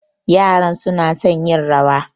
Yaran suna son yin rawa.